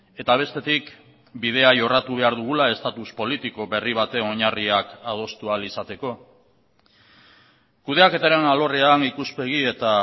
eta bestetik bidea jorratu behar dugula estatus politiko berri baten oinarriak adostu ahal izateko kudeaketaren alorrean ikuspegi eta